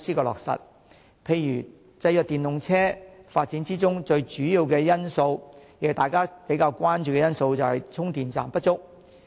例如，制約電動車發展的其中一個主要因素，也是大家比較關注的因素，就是充電站不足。